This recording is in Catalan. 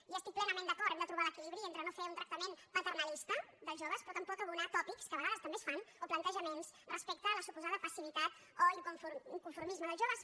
hi estic plenament d’acord hem de trobar l’equilibri entre no fer un tractament paternalista dels joves però tampoc abonar tòpics que a vegades també es fan o plantejaments respecte a la suposada passivitat o inconformisme dels joves